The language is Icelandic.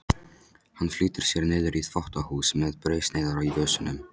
Hann flýtir sér niður í þvottahús með brauðsneiðar í vösunum.